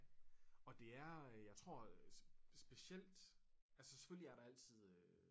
Og det er øh jeg tror specielt altså selvfølgelig er der altid øh